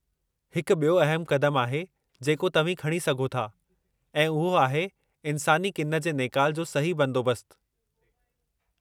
हिकु बि॒यो अहमु क़दमु आहे जेको तव्हीं खणी सघो था, ऐं उहो आहे इन्सानी किन जे नेकाल जो सही बंदोबस्तु।